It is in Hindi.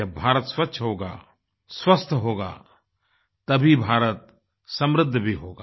जब भारत स्वच्छ होगा स्वस्थ होगा तभी भारत समृद्ध भी होगा